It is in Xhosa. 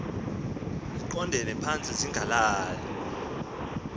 ziqondele phantsi zingalali